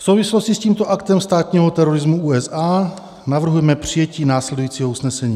V souvislosti s tímto aktem státního terorismu USA navrhujeme přijetí následujícího usnesení: